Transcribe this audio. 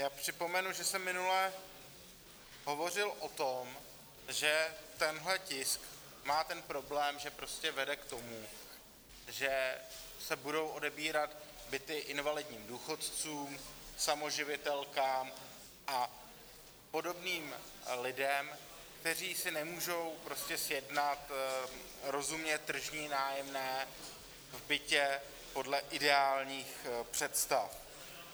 Já připomenu, že jsem minule hovořil o tom, že tenhle tisk má ten problém, že prostě vede k tomu, že se budou odebírat byty invalidním důchodcům, samoživitelkám a podobným lidem, kteří si nemůžou prostě sjednat rozumně tržní nájemné v bytě podle ideálních představ.